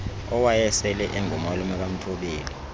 owayesele engumalume kamthobeli